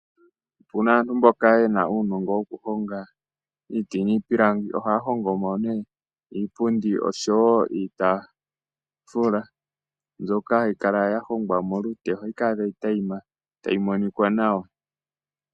Uuna aantu mboka yena uunongo wokuhonga iiti niipilangi, ohaa hongomo nee iipundi oshowo iitafula mbyoka hayi kala yahongwa molute ohayi kala tayi tayima tayi monika nawa.